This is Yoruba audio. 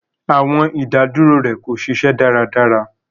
Awọn idaduro rẹ ko ṣiṣẹ daradara